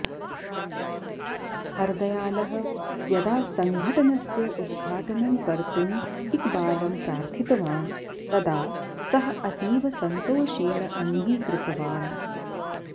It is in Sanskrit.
हरदयालः यदा सङ्घटनस्य उद्घाटानं कर्तुं इक्बालं प्रार्थितवान् तदा सः अतीव सन्तोषेण अङ्गीकृतवान्